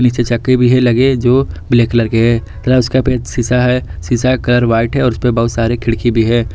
पीछे चक्के भी है लगे जो ब्लैक कलर के हैं तथा उसका पे शीशा है शीशे का कलर व्हाइट है उस पे बहुत सारे खिड़की भी है।